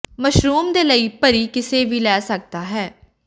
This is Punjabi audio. ਮਸ਼ਰੂਮ ਦੇ ਲਈ ਭਰੀ ਕਿਸੇ ਵੀ ਲੈ ਸਕਦਾ ਹੈ